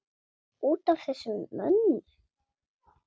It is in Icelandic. Út af þessum mönnum?